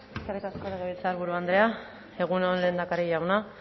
eskerrik asko legebiltzarburu andrea egun on lehendakari jauna